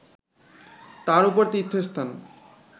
তার উপরে তীর্থস্থান